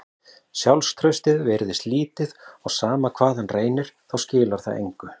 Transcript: Sjálfstraustið virðist lítið og sama hvað hann reynir þá skilar það engu.